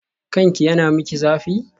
Kanki yana miki zafi?